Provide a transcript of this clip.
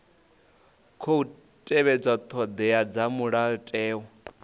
khou tevhedza thodea dza mulayotewa